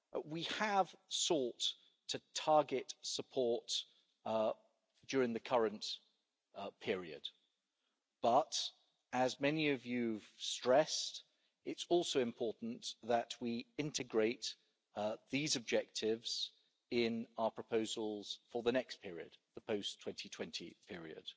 We have sought to target support during the current period, but, as many of you have stressed, it's also important that we integrate these objectives in our proposals for the next period the post 2020 period.